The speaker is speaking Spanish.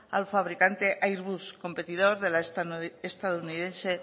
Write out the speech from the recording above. al fabricante airbus competidor de la estadounidense